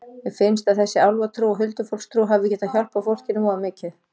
Mér finnst að þessi álfatrú og huldufólkstrú hafi getað hjálpað fólkinu voða mikið.